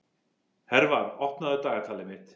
Hervar, opnaðu dagatalið mitt.